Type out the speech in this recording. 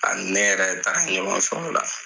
A ni ne yɛrɛ de taara ɲɔgɔn fɛ ola